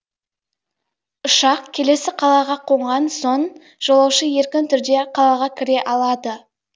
ұшақ келесі қалаға қонған соң жолаушы еркін түрде қалаға кіре алады